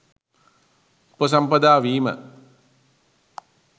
උපසම්පදා වීම :